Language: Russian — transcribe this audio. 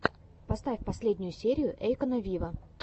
поставь последнюю серию эйкона виво